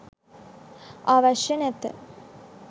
අවශ්‍ය නැත.